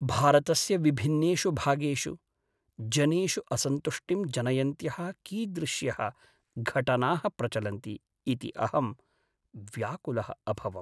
भारतस्य विभिन्नेषु भागेषु, जनेषु असन्तुष्टिं जनयन्त्यः कीदृश्यः घटनाः प्रचलन्ति इति अहं व्याकुलः अभवम्।